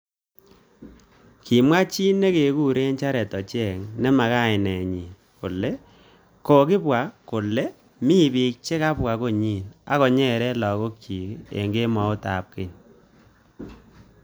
Kimwa chi nekekuru Jared ochieng ne makainet nyi kole kokimwa kole mi bik chekibwa konyi akonyere lakok chik eng kembout ab kwen.